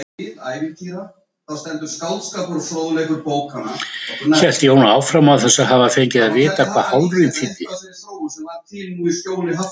hélt Jón áfram, án þess að hafa fengið að vita hvað hálfrím þýddi.